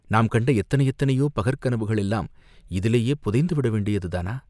நாம் கண்ட எத்தனை எத்தனையோ பகற் கனவுகள் எல்லாம் இதிலேயே புதைந்து விட வேண்டியதுதானா?